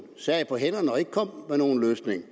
sad på hænderne og ikke kom med nogen løsning